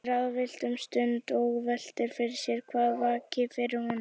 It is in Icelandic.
Hún er ráðvillt um stund og veltir fyrir sér hvað vaki fyrir honum.